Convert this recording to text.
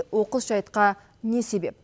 оқыс жайтқа не себеп